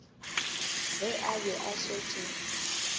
ge a be a šetše